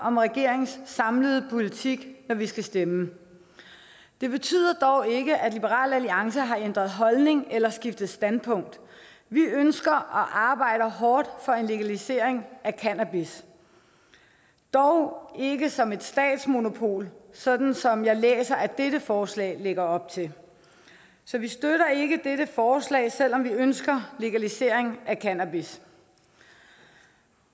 om regeringens samlede politik når vi skal stemme det betyder dog ikke at liberal alliance har ændret holdning eller skiftet standpunkt vi ønsker og arbejder hårdt for en legalisering af cannabis dog ikke som et statsmonopol sådan som jeg læser at dette forslag lægger op til så vi støtter ikke dette forslag selv om vi ønsker legalisering af cannabis